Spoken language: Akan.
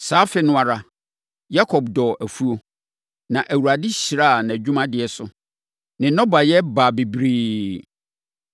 Saa afe no ara Yakob dɔɔ afuo. Na Awurade hyiraa nʼadwumadeɛ so. Ne nnɔbaeɛ baa bebree.